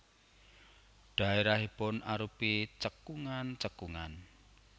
Dhaérahipun arupi cekungan cekungan